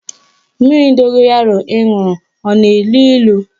Mmiri dogoyaro ị ṅụrụ a na-elu ilu?